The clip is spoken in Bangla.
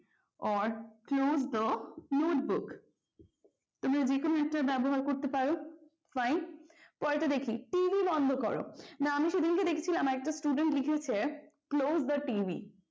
or close the notebook তোমরা যেকোনো একটার ব্যবহার করতে পারো fine পরেরটা দেখি TV বন্ধ করো না আমি সেদিনকে দেখছিলাম একটা student লিখেছে close the TV